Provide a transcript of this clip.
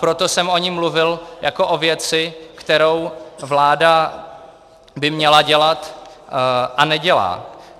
Proto jsem o ní mluvil jako o věci, kterou vláda by měla dělat a nedělá.